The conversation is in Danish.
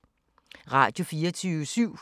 Radio24syv